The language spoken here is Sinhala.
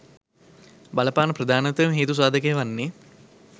බලපාන ප්‍රධානතම හේතු සාධකය වන්නේ